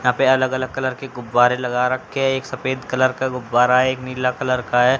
यहां पे अलग अलग कलर के गुब्बारे लगा रखे हैं एक सफेद कलर का गुब्बारा है एक नीला कलर का है।